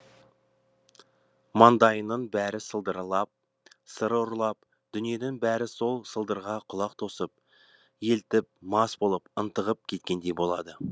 маңайыңның бәрі сылдыралап сыр ұрлап дүниенің бәрі сол сылдыраған құлақ тосып елтіп мас болып ынтығып кеткендей болады